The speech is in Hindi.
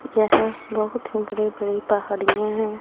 यहां बहुत बड़े बड़े पहाड़ियां हैं।